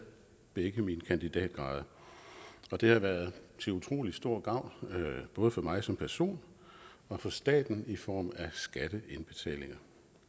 begge mine kandidatgrader og det har været til utrolig stor gavn både for mig som person og for staten i form af skatteindbetalinger